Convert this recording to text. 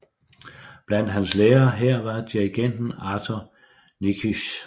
Blandt hans lærere her var dirigenten Arthur Nikisch